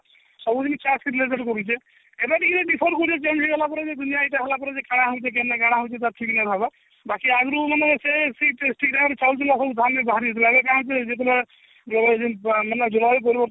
ସବୁଦିନ ଏମାନେ ଟିକେ differ କରୁଛନ change ହେଲା ପରେ କାଣା ହଉଛି କେନ୍ତା କାଣା ହଉଛି ତାର ଠିକ ନଇ ଭାବ ବାକି ଆଗରୁ ମାନେ ସେ ଠିକ ଜାଗରୁ ହଉଥିଲା ସବୁ ଧାନ ବି ବାହାରି ଯାଉଥିଲା ଏବେ କାଣା ହଉଛି ଯେତେବେଳେ